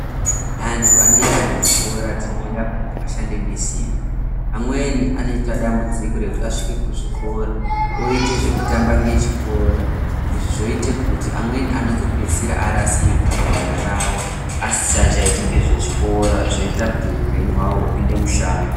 Antu anoenda kuzvikora kuti ashande nesimba amweni anoita dambudziko rekuti asvika kuzvikora oita zvekutamba nechikora izvi zvoita kuti amweni anenge arasika gwara rawo asingachaiti zvezvikora zvoita kuti hupenyu hwavo hupinde mushango.